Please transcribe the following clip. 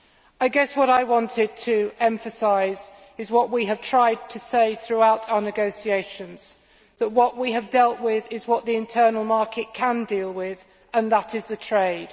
I guess what I wanted to emphasise is what we have tried to say throughout our negotiations that what we have dealt with is what the internal market can deal with, and that is the trade.